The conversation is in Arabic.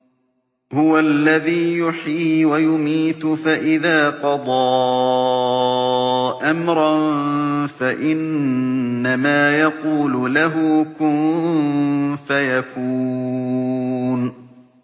هُوَ الَّذِي يُحْيِي وَيُمِيتُ ۖ فَإِذَا قَضَىٰ أَمْرًا فَإِنَّمَا يَقُولُ لَهُ كُن فَيَكُونُ